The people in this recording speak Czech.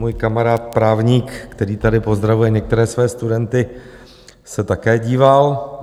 Můj kamarád právník, který tady pozdravuje některé své studenty, se také díval.